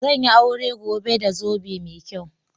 Zan yi aure gobe da zobe mai kyau.